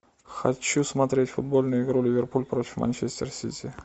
хочу смотреть футбольную игру ливерпуль против манчестер сити